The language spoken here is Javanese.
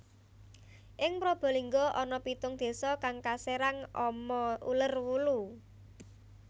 Ing Probolinggo ana pitung désa kang kaserang ama uler wulu